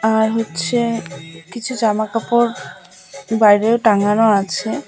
আর হচ্ছে কিছু জামাকাপড় বাইরে টাঙ্গানো আছে।